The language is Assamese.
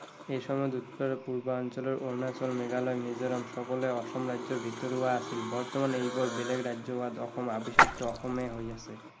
এই সময়ত উত্তৰ পূৰ্বাঞ্চলৰ অৰুণাচল, মেঘালয়, মিজোৰাম সকলোৱে অসম ৰাজ্যৰ ভিতৰুৱা আছিল। বৰ্তমান এই বোৰ বেলেগ ৰাজ্য হোৱাত অসম অসমেই হৈ আছে।